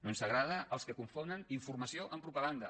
no ens agraden els que confonen informació amb propaganda